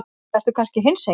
Ertu kannski hinsegin?